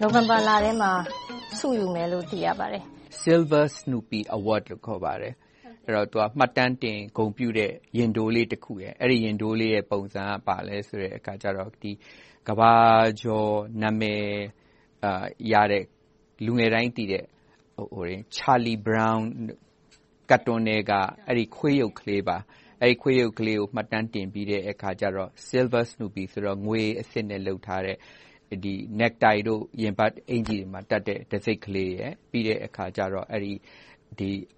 နိုဝင်ဘာလထဲမှာ ဆုယူမယ်လို့ သိရပါတယ်။ Silver Snoopy Award လို့ ခေါ်ပါတယ်။ မှတ်တမ်းတင် ဂုဏ်ပြုတဲ့ ရင်ထိုးလေးတခုပါ။ အဲဒီရင်ထိုးလေးရဲ့ ပုံစံက ကမ္ဘာကျော် နာမည်ရတဲ့၊ လူငယ်တိုင်းသိတဲ့ Charlie Brown ကာတွန်းထဲက အဲဒီခွေးရုပ်လေးပါ။ အဲဒီခွေးရုပ်လေးကို မှတ်တမ်းတင်ပြီး၊ Silver Snoopy ဆိုတော့ ငွေအဆစ်နဲ့လုပ်ထားတဲ့ necktie တို့ ရင်ဘတ်အင်္ကျ ီတို့မှာတပ်တံဆိပ်ကလေးရယ်၊ ပြီးတော့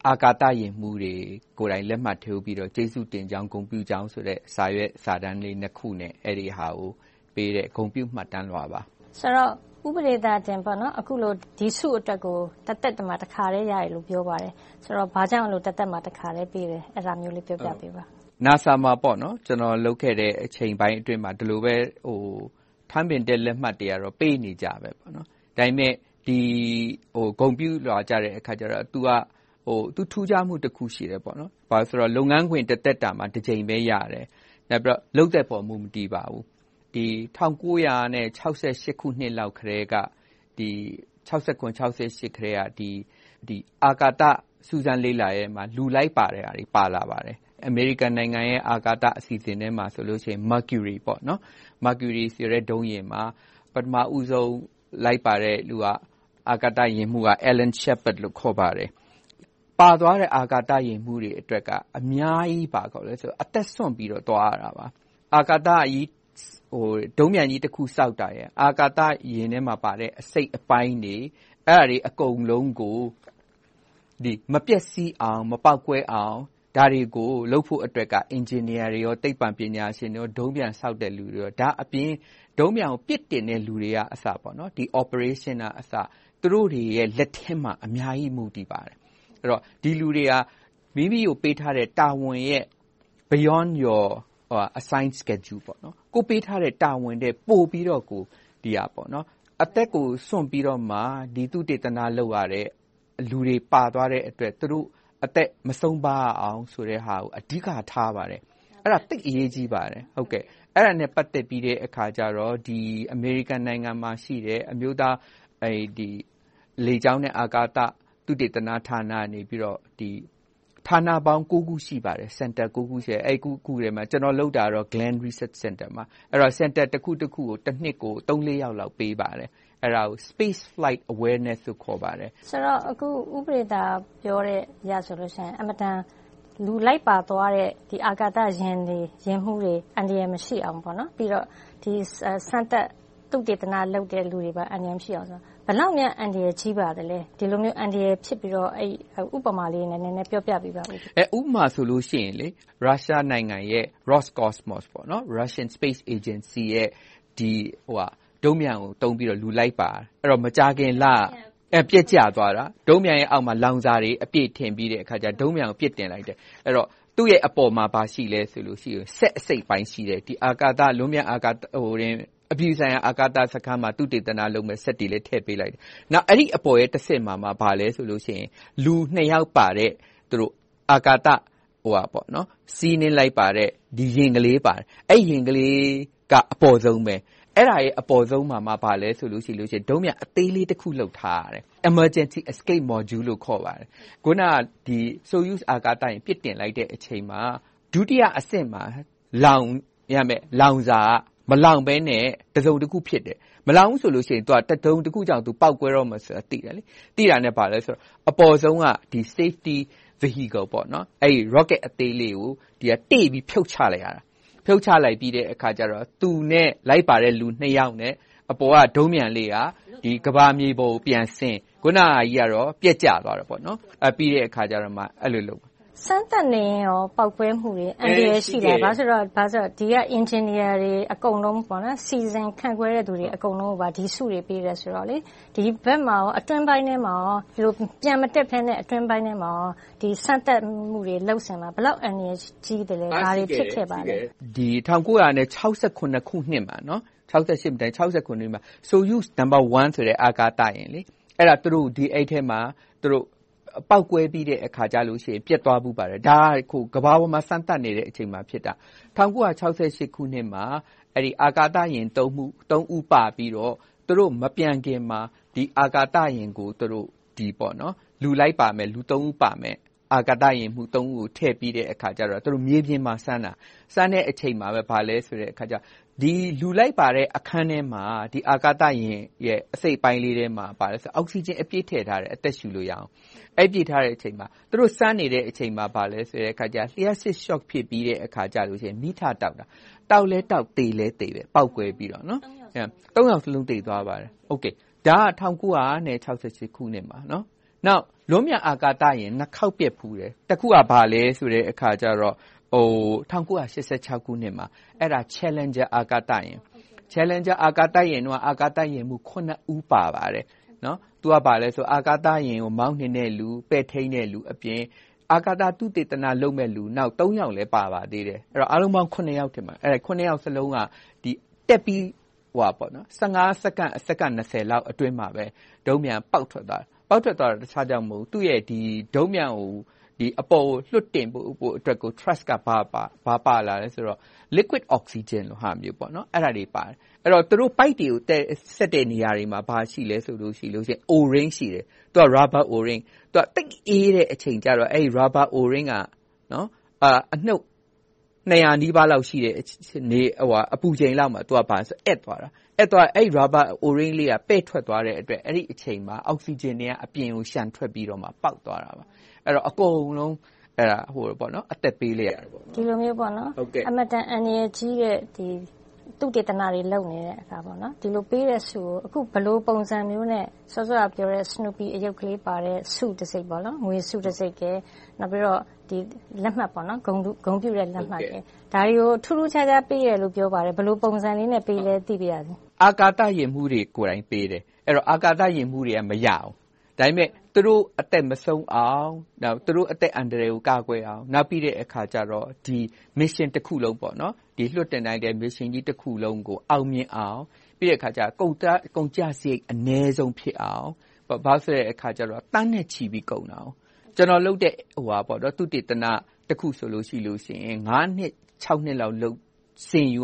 အာကာသယာဉ်မှူးတွေကိုယ်တိုင် လက်မှတ်ထိုးပြီးတော့ ကျေးဇူးတင်ကြောင်း၊ ဂုဏ်ပြုကြောင်းဆိုတဲ့ စာရွက်စာတမ်းလေးနှစ်ခုနဲ့ အဲဒီဟာကိုပေးတဲ့ ဂုဏ်ပြုမှတ်တမ်းလွှာပါ။ ဦးပဒေသာတင် အခုလို ဒီဆုအတွက်ကို တသက်မှာ တခါပဲရတယ်လို့ ပြောပါတယ်။ ဆိုတော့ ဘာကြောင့် တသက်မှာ တခါပဲ ပေးရတာလဲ။ အဲဒါကို ပြောပြပေးပါ။ NASA မှာ ကျနော် လုပ်ခဲ့တဲ့အချိန်ပိုင်းအတွင်းမှာ ဒီလိုပဲ ထန်းပင်တက်လက်မှတ်တွေကတော့ ပေးနေကြပါ။ ဒါပေမဲ့ ဒီဂုဏ်ပြုလွှာကြတော့ သူ့ရဲ့ထူးခြားမှုတခုက လုပ်ငန်းခွင်တသက်တာမှာ တကြိမ်ပဲရတယ်။ နောက်ပြီးတော့ လုပ်သက်ပေါ် မူမတည်ပါဘူး။ ၁၉၆၇-၆၈ ခုနှစ်လောက်ကတည်းက အာကာသစူးစမ်းလေ့လာမှုမှာ လူလိုက်ပါတဲ့ဟာတွေ ပါလာပါတယ်။ အမေရိကန်နိုင်ငံရဲ့ အာကာသအစီအစဉ်ထဲမှာ Mecury ဆိုတဲ့ ဒုံးပျံယာဉ်မှာ ပထမဦးဆုံး လိုက်ပါတဲ့လူဟာ အာကာသယာဉ်မှူးက Alan Shepard ဖြစ်ပါတယ်။ ပါသွားတဲ့ အာကာသယာဉ်မှူးတွေအတွက်က အများကြီးအသက်စွန့်ပြီးတော့ သွားရတယ်။ ဒုံးပျံကြီးတခုဆောက်တာ၊ အာကာသယာဉ်ထဲမှာပါတဲ့ အစိတ်အပိုင်းတွေ - အဲဒါတွေ အကုန်လုံးကို မပျက်စီးအောင်၊ မပေါက်ကွဲအောင် ဒါတွေကိုလုပ်ဖို့က အင်ဂျင်နီယာတွေ၊ သိပ္ပံပညာရှင်တွေ၊ ဒုံးပျံဆောက်တဲ့လူတွေအပြင် ဒုံးပျံကို ပစ်တင်တဲ့လူတွေကအစ Operationers သူတို့တွေရဲ့ လက်ထဲမှာ အများကြီး မူတည်ပါတယ်။ ဒီလူတွေက မိမိကိုပေးထားတဲ့ တာဝန်တွေရဲ့ Beyond your assigned schedule ကိုယ့်ကိုပေးထားတဲ့ တာဝန်ထက်ပိုပြီးတော့ အသက်ကိုစွန့်ပြီးတော့မှ သုတေသန လုပ်ရတဲ့ လူတွေပါသွားတဲ့အတွက် သူတို့အသက်မဆုံးပါရအောင် အဓိကထားပါတယ်။ အဲဒါ သိပ်အရေးကြီးပါတယ်။ အဲဒါနဲ့ ပတ်သက်ပြီးတော့ အမေရိကန်နိုင်ငံမှာရှိတဲ့ အမျိုးသားလေကြောင်းနဲ့ အာကာသသုတေသနဌာနကနေ ဌာနပေါင်း ခု ရှိပါတယ်။ အဲဒီ ခုထဲမှာ ကျနော်လုပ်တာကတော့ Glen Research Center မှာပါ။ Center တခုကို တနှစ်မှာ သုံးလေးယောက်လောက် ပေးပါတယ်။ အဲဒါကို Space Flight Awareness လို့ ခေါ်ပါတယ်။ ဦးပဒေသာတင် ပြောအရဆိုရင် လူလိုက်ပါသွားတဲ့ အာကာသယာဉ်တွေ၊ ယာဉ်မှူးတွေ အန္တရာယ်မရှိအောင်၊ ပြီးတော့ စမ်းသပ်သုတေသနလုပ်တဲ့ လူတွေပါ အန္တရာယ်မရှိအောင် ဘယ်လောက်များ အန္တရာယ်ကြီးပါသလဲ။ ဒီလိုမျိုး အန္တရာယ်ဖြစ်ပြီးတော့ ဥပမာလေးနဲ့ နည်းနည်းပြောပြပေးပါ။ ဥပမာဆိုလို့ရှိရင် ရုရှားနိုင်ငံရဲ့ Roscosmos - Russian Space Agency ရဲ့ ဒုံးပျံကိုသုံးပြီးတော့ လူလိုက်ပါတယ်။ မကြာခင်လက ပျက်ကျသွားတာ ဒုံးပျံရဲ့အောက်မှာ လောင်စာတွေအပြည့်ထည့်ပြီးတော့ ဒုံးပျံကို ပစ်တင်လိုက်တယ်။ သူ့ရဲ့အပေါ်မှာ ဘာရှိလဲဆိုတော့ စက်အစိတ်အပိုင်းရှိတဲ့ ဒီလွန်ပျံအာကာသ - အပြည်ပြည်ဆိုင်ရာ အာကာစခန်းမှာ သုတေသနလုပ်မယ့် စက်တွေလည်း ထည့်ပေးလိုက်တယ်။ နောက် အဲဒီအပေါ်ရဲ့တဆင့်မှာ ဘာလဲဆိုတော့ လူနှစ်ယောက်ပါတဲ့ စီးနှင်းလိုက်ပါတဲ့ ယာဉ်ကလေးပါတယ်။ အဲဒီယာဉ်ကလေးက အပေါ်ဆုံးမှာပါ။ အဲဒီအပေါ်ဆုံးမှာ ဘာရှိလဲဆိုတော့ ဒုံးပျံအသေးလေးတခု လုပ်ထားတယ်။ Emergency Escape Module လို့ ခေါ်ပါတယ်။ အခုန Soyuz အာကာသယာဉ် ပစ်တင်လိုက်တဲ့အချိန်မှာ ဒုတိယအဆင့်မှာ လောင်းရမယ့် လောင်စာက မလောင်းဘဲနဲ့ တစုံတခုဖြစ်တယ်။ မလောင်းဘူးဆိုရင် တစုံတခုကြောင့် ပေါက်ကွဲတော့မယ်ဆိုတာကို သိတယ်။ သိတာနဲ့ အပေါ်ဆုံးက Safety Vehicle – Rocket အသေးလေးကို တေ့ပြီးဖြုတ်ချလိုက်ရတယ်။ ဖြုတ်ချလိုက်ပြီးတော့ သူနဲ့လိုက်ပါတဲ့ လူနှစ်ယောက်နဲ့ အပေါ်က ဒုံးပျံလေးက ကမ္ဘာမြေပေါ်ကိုပြန်ဆင်း၊ အခုနဟာကြီးက ပျက်ကျသွားတယ်။ စမ်းသပ်နေတဲ့အခါလဲ ပေါက်ကွဲမှုတွေ၊ အန္တရာယ်ရှိတယ်။ ဘာဖြစ်လို့လဲဆိုတော့ ဒီက အင်ဂျင်နီယာတွေ အကုန်လုံး၊ စီစဉ်ခန့်ခွဲတဲ့လူတွေ အကုန်လုံးကို ဒီဆုတွေ ပေးတယ်ဆိုတော့ - အတွင်းပိုင်းမှာ ပျံမတက်ဘဲနဲ့ စမ်းသပ်မှုတွေ လုပ်ဆောင်လား။ ဘယ်လောက်အန္တရာယ်ကြီးသလဲ။ ဘာတွေဖြစ်ခဲ့ပါလဲ။ အန္တရာယ်ကြီးတယ်။ ၁၉၆၇ ခုနှစ်မှာ Soyuz No အာကာသယာဉ်ထဲမှာ ပေါက်ကွဲပြီးတော့ ပျက်သွားဖူးပါတယ်။ ဒါက ကမ္ဘာပေါ်မှာ စမ်းသပ်နေတဲ့အချိန်မှာ ဖြစ်တာ။ ၁၉၆၈ ခုနှစ်မှာ အဲဒီအာကာသယာဉ် ဦး ပါပြီးတော့ သူတော့မပျံခင်မှာ ဒီအာကာသယာဉ်ကို သူတို့ အာကာသယာဉ်မှူး ဦးကို ထည့်ပြီးတော့ မြေပြင်မှာစမ်းတာ - အဲဒီစမ်းတဲ့အချိန်မှာပဲ လူလိုက်ပါတဲ့အခန်းထဲမှာ အာကာသယာဉ် အစိတ်အပိုင်းလေးထဲမှာ အောက်စီဂျင်အပြည့်ထည့်ထားတယ် အသက်ရှူလို့ရအောင်။ အဲဒီ သူတို့စမ်းနေတဲ့အချိန်မှာ လျှပ်စစ်ရှော့ဖြစ်ပြီးတော့ မီးထတောက်တယ်။ တောက်ပြီးတာနဲ့ ပေါက်ကွဲပြီး အာကာသယာဉ်မှူး ယောက်လုံး သေသွားတယ်။ ဒါက ၁၉၆၈ ခုနှစ်မှာ။ နောက် လွန်ပျံအာကာသယာဉ် နှစ်ခေါက်ပျက်ဖူးတယ်။ တခုက ဘာလဲဆိုတော့ ၁၉၈၆ ခုနှစ်မှာ Challenger အာကာသယာဉ် - အဲဒီမှာ အာကာသယာဉ်မှူး ဦး ပါပါတယ်။ အာကာသယာဉ်ကို မောင်းနှင်တဲ့လူ၊ ပဲ့ထိန်းတဲ့လူအပြင် အာကာသသုတေသနလုပ်မယ့်လူ ယောက်လည်း ပါပါတယ်။ အားလုံးပေါင်း ယောက်စလုံးက တက်ပြီး စက္ကန့်၊ စက္ကန့် အတွင်းမှာ ဒုံးပျံက ပေါက်ကွဲသွားတယ်။ ပေါက်ကွဲရတဲ့အကြောင်းက ဒုံးပျံကို အပေါ်ကိုလွှတ်တင်ဖို့အတွက် T… က ဘာပါလာလဲဆိုတော့ Liquid Oxygen လိုဟာမျိုး အဲဒါတွေပါတယ်။ သူတို့ပိုက်တွေကို ဆက်တဲ့နေရာတွေမှာ ဘာတွေရှိလဲဆိုရင် Rubber O-ring သိပ်အေးတဲ့အချိန်ကြတော့ အဲဒီ Rubber O-ring က အနုတ် ၂၀၀ နီးပါးလောက်ရှိတဲ့ အပူချိန်လောက်မှာ သူက အက်သွားတယ်။ အဲဒီ Rubber O-ring လေး ပဲ့ထွက်သွားတဲ့အတွက် အဲဒီအချိန်မှာ Oxygen တွေက အပြင်ကို လျှံထွက်ပြီးတော့ ပေါက်သွားခဲ့တယ်။ အကုန်လုံး အသက်ပေးလိုက်ရတယ်။ ဒီလိုမျိုး အင်မတန် အန္တရာယ်ကြီးတဲ့ သုတေသနတွေ လုပ်နေပြီး၊ ဒီလိုပေးတဲ့ဆုကို အခုဘယ်လိုပုံစံမျိုးနဲ့ စောစောကပြောတဲ့ Snoopy အရုပ်လေးပါတဲ့ ဆုတံဆိပ် ငွေဆုတံဆိပ်နဲ့ ဂုဏ်ပြုလက်မှတ်တွေကို ထူးထူးခြားခြား ပေးတယ်လို့ပြောပါတယ်။ ဘယ်လိုပုံစံလေးနဲ့ ပေးသလဲ သိပါရစေ။ အာကာသယာဉ်မှူးတွေကိုယ်တိုင် ပေးပါတယ်။ အဲဒီတော့ အာကာသယာဉ်မှူးတွေက မရဘူး။ ဒါပေမဲ့ သူတို့အသက်မဆုံးအောင်၊ သူတို့အသက်အန္တရာယ်ကို ကာကွယ်အောင်၊ နောက်ပြီးတော့ Mission တခုလုံး အောင်မြင်အောင်၊ ပြီးတော့ ကုန်ကျစရိတ် အနည်းဆုံးဖြစ်အောင် - ဘာဖြစ်လို့လဲဆိုတော့ သန်းနဲ့ချီပြီးတော့ ကုန်ကျတယ်။ ကျနော်လုပ်တဲ့ သုတေသနတခုဆိုရင် ငါးနှစ်ခြောက်နှစ်လောက် လုပ်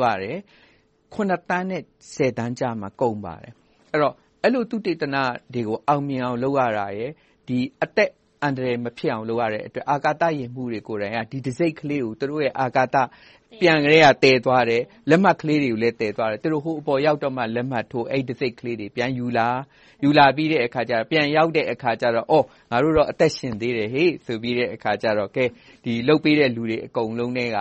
ရတယ်။ ခုနှစ်သန်းနဲ့ ဆယ်သန်းကြားမှာ ကုန်ပါတယ်။ အဲဒီလို သုတေသနတွေကို အောင်မြင်အောင် လုပ်ရတာရယ်။ အသက်အန္တရာယ် မဖြစ်အောင်လုပ်ရတဲ့အတွက် အာကာသယာဉ်မှူးတွေကိုယ်တိုင် ဒီတံဆိပ်ကလေးကို သူတို့ အာကာသပျံကတည်းက သယ်သွားတယ်။ လက်မှတ်ကလေးတွေလည်း သယ်သွားတယ်။ ဟိုအပေါ်ရောက်မှ လက်မှတ်ထိုး၊ တံဆိပ်ကလေးတွေ ပြန်ယူလာပြီး၊ ပြန်ရောက်တဲ့အခါ.. ‘ငါတို့တော့ အသက်ရှင်သေးတယ်ဆိုပြီးတော့’ လုပ်ပေးတဲ့ လူတွေအကုန်လုံးထဲက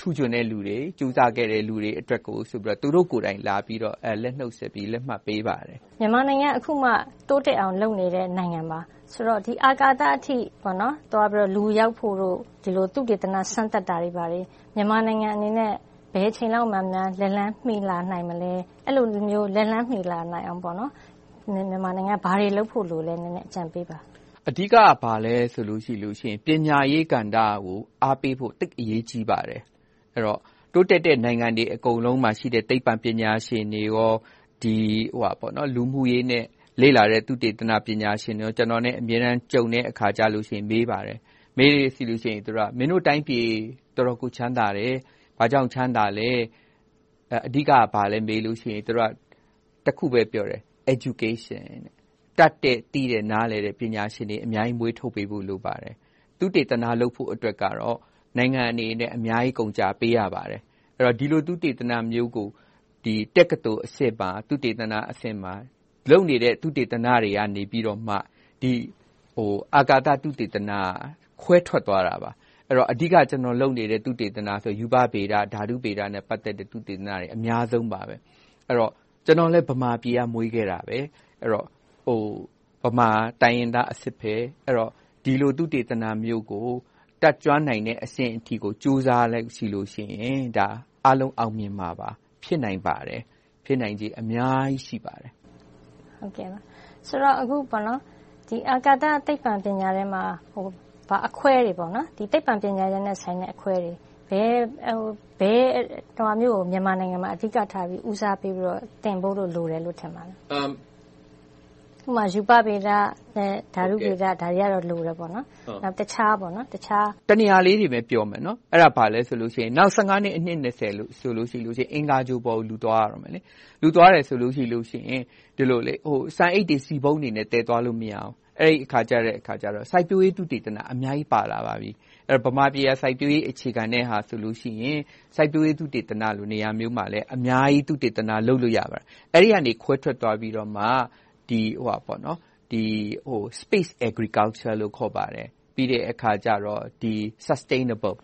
ထူးချွန်တဲ့လူတွေ၊ ကြိုးစားပေးတဲ့ လူတွေအတွက်ကို သူတို့ကိုယ်တိုင် လက်ဆွဲနှုတ်ဆက်ပြီး၊ လက်မှတ်ပေးပါတယ်။ မြန်မာနိုင်ငံက အခုမှ တိုးတက်အောင် လုပ်နေတဲ့နိုင်ငံပါ။ ဆိုတော့ အာကာသအထိ သွားဖို့၊ လူရောက်ဖို့တို့၊ သုတေသန စမ်းသပ်တာတွေက မြန်မာနိုင်ငံအတွက် ဘယ်အချိန်လောက်များ လက်လှမ်းမီလာနိုင်မလဲ။ အဲဒီလိုမျိုး လက်လှမ်းမီလာနိုင်အောင် မြန်မာနိုင်ငံအနေနဲ့ ဘာတွေလုပ်ဖို့လိုသလဲ။ အကြံပေးပါ။ အဓိက ဘာလဲဆိုရင် ပညာရေးကဏ္ဍကို အားပေးဖို့ သိပ်အရေးကြီးပါတယ်။ တိုးတက်တဲ့ နိုင်ငံတွေအကုန်လုံးမှာရှိတဲ့ သိပ္ပံပညာရှင်တွေ၊ လူမှုရေးနဲ့ လေ့လာရေး သုတေသနပညာရှင်တွေ ကျနော်နဲ့ အမြဲတမ်းကြုံတဲ့အခါ မေးပါတယ်။ မေးတဲ့အခါ မင်းတို့တိုင်းပြည် တော်တော်ကို ချမ်းသာတယ်။ ဘာကြောင့်ချမ်းသာလဲ။ အဓိက ဘာလဲမေးလို့ရှိရင် သူတို့က တခုပဲ ပြောတယ် - Education တတ်တဲ့၊ သိတဲ့၊ နားလည်တဲ့ ပညာရှင်တွေ အများကြီးမွေးထုတ်ပေးဖို့ လိုပါတယ်။ သုတေသန လုပ်ဖို့အတွက်ကတော့ နိုင်ငံအနေနဲ့ အများကြီးကုန်ကျပေးရပါတယ်။ ဒီလို သုတေသနမျိုးကို တက္ကသိုလ်အဆင့်မှာ လုပ်နေတဲ့ သုတေသနတွေကနေ အာကာသသုတေသနက ခွဲထွက်သွားတာပါ။ အဓိက ကျနော်လုပ်နေတဲ့ သုတေသနဆိုရင် ရူပဗေဒ၊ ဓာတုဗေဒနဲ့ ပတ်သက်တဲ့ သုတေသနတွေ အများဆုံးပါ။ ကျနော်လည်း ဗမာပြည်မှာ မွေးခဲ့တာပါ။ ဗမာတိုင်းရင်းသားအစစ်။ ဒီလို သုတေသနမျိုးကို တတ်ကျွမ်းနိုင်တဲ့အဆင့်အထိကို ကြိုးစားလိုက်ရင် အားလုံးအောင်မြင်မှာပါ။ ဖြစ်နိုင်ပါတယ်။ ဖြစ်နိုင်ချေအများကြီး ရှိပါတယ်။ ဆိုတော့ အာကာသသိပ္ပံ ပညာထဲမှာ သိပ္ပံပညာရပ်နဲ့ ပတ်သက်တဲ့ အခွဲတွေ - ဘယ်ဟာမျိုးကို မြန်မာနိုင်ငံမှာ ဦးစားပေးသင်ဖို့ လိုတယ်လို့ ထင်ပါလဲ။ ဥပမာ ရူပဗေဒနဲ့ ဓာတုဗေဒတွေက လိုတယ်ပေါ့။ တနေရာပဲပြောမယ် အဲဒါ ဘာလဲဆိုတော့ နောက် နှစ်၊ အနှစ် ဆိုရင် အင်္ဂါဂြိုဟ်ပေါ်ကို လူသွားရတော့မယ်။ လူသွားတယ်ဆိုရင် ဆန်အိတ်တွေ၊ ဆီပုံးတွေ သယ်သွားလို့မရဘူး။ အဲဒီအခါကြတော့ စိုက်ပျိုးရေး သုတေသနတွေ အများကြီးပါလာပါပြီ။ ဗမာပြည်က စိုက်ပျိုးရေးအခြေခံတော့ စိုက်ပျိုးရေးသုတေသနလို နေရာမျိုးမှာ အများကြီး သုတေသနလုပ်လို့ ရပါတယ်။ အဲဒီကနေ ခွဲထွက်သွားပြီးတော့ Space Agriculture လို့ ခေါ်ပါတယ်။ ပြီးတဲ့အခါ Sustainable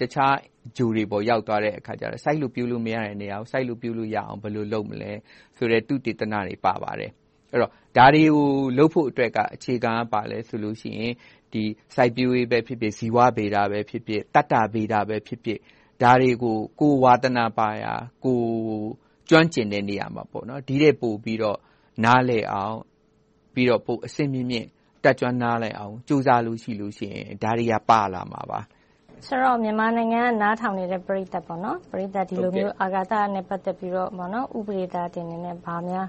တခြားဂြိုဟ်တွေပေါ် ရောက်သွားတဲ့အခါ စိုက်လို့ပျိုးလို့မရတဲ့နေရာမှာ စိုက်လို့ပျိုးလို့ရအောင် ဘယ်လိုလုပ်မလဲဆိုတဲ့ သုတေသနတွေ ပါလာပါတယ်။ ဒါတွေကို လုပ်ဖို့အတွက် အခြေခံက ဘာလဲဆိုတော့ စိုက်ပျိုးရေးပဲဖြစ်ဖြစ်၊ ဇီဝဗေဒပဲဖြစ်ဖြစ်၊ သတ္တဗေဒပဲဖြစ်ဖြစ် - ဒါတွေကို ကိုယ်ဝါသနာပါရာ၊ ကိုယ်ကျွမ်းကျင်တဲ့နေရာမှာ ဒီထက်ပိုပြီးတော့ နားလည်အောင်၊ ပိုပြီးအဆင့်မြင့်မြင့် တက်ကျွမ်းနားလည်အောင် ကြိုးစားလို့ရှိရင် ဒါတွေက ပါလာမှာပါ။ ဆိုတော့ မြန်မာနိုင်ငံက နားထောင်နေတဲ့ ပရိသတ်တွေကို ဒီလိုမျိုး အာကာသနဲ့ ပတ်သက်ပြီးတော့ ဦးပဒေသာတင်အနေနဲ့ ဘာများ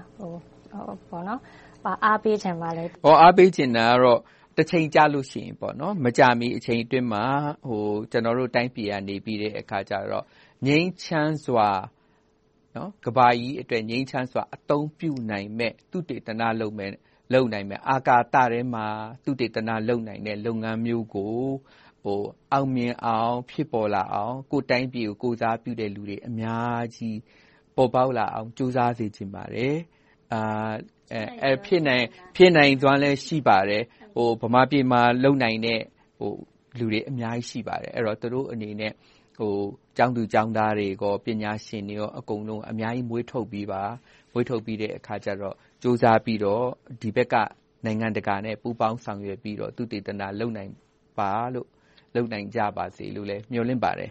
အားပေးချင်ပါလဲ။ အားပေးချင်တာကတော့ တချိန်ကြလို့ရှိရင်...မကြာမီ အချိန်အတွင်းမှာ ကျနော်တို့တိုင်းပြည်ကနေ ကမ္ဘာကြီးအတွက် ငြိမ်းချမ်းစွာ အသုံးပြုနိုင်မယ့် သုတေသနလုပ်မယ့်၊ အာကာသထဲမှာ သုတေသနလုပ်နိုင်မယ့် လုပ်ငန်းမျိုးကို အောင်မြင်အောင်၊ ဖြစ်ပေါ်လာအောင် ကိုယ့်တိုင်းပြည်ကို ကိုယ်စားပြုတဲ့လူတွေ အများကြီးပေါ်ပေါက်လာအောင် ကြိုးစားစေချင်ပါတယ်။ ဖြစ်နိုင်စွမ်းလည်း ရှိပါတယ်။ ဗမာပြည်မှာလုပ်နိုင်တဲ့ လူတွေအများကြီးရှိပါတယ်။ သူတို့အနေနဲ့ ကျောင်းသူကျောင်းသားတွေ၊ ပညာရှင်တွေ အကုန်လုံး အများကြီးမွေးထုတ်ပေးပါ။ မွေးထုတ်ပြီးတော့ ကြိုးစားပြီးတော့ ဒီဘက်က နိုင်ငံတကာနဲ့ ပူးပေါင်းဆောင်ရွက်ပြီးတော့ သုတေသနလုပ်နိုင်ကြပါစေလို့ မျှော်လင့်ပါတယ်